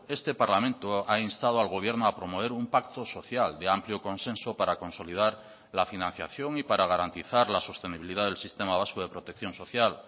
este parlamento ha instado al gobierno a promover un pacto social de amplio consenso para consolidar la financiación y para garantizar la sostenibilidad del sistema vasco de protección social